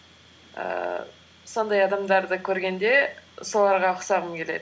ііі сондай адамдарды көргенде соларға ұқсағым келеді